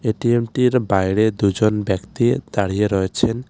এটিএমটির বাইরে দুজন ব্যক্তি দাঁড়িয়ে রয়েছেন।